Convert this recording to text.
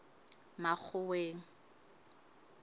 makgoweng